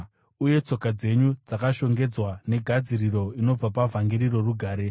uye tsoka dzenyu dzakashongedzwa negadziriro inobva pavhangeri rorugare.